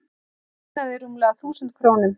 Munaði rúmlega þúsund krónum